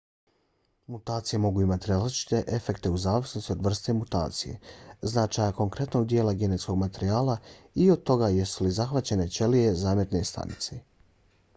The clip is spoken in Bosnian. mutacije mogu imati različite efekte u zavisnosti od vrste mutacije značaja konkretnog dijela genetskog materijala i od toga jesu li zahvaćene ćelije zametne stanice